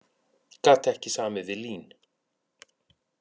Gat ekki samið við LÍN